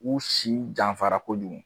U si janfarako kojugu